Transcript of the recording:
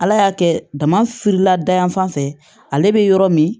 Ala y'a kɛ damafirila da yan fan fɛ ale be yɔrɔ min